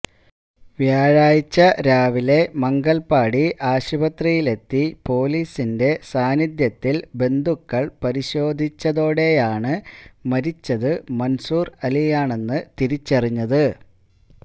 വ്യാഴാഴ്ച രാവിലെ മംഗൽപാടി ആശുപത്രിയിലെത്തി പൊലീസിന്റെ സാന്നിധ്യത്തിൽ ബന്ധുക്കൾ പരിശോധിച്ചതോടെയാണ് മരിച്ചത് മൻസൂർ അലിയാണെന്ന് തിരിച്ചറിഞ്ഞത്